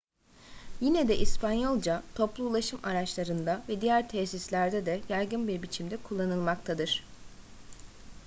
yine de i̇spanyolca toplu ulaşım araçlarında ve diğer tesislerde de yaygın bir biçimde kullanılmaktadır